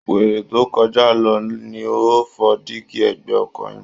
Wèrè tó ń kọjá lọ ni ó fọ́ díígí ẹ̀gbẹ́ ọkọ̀ yín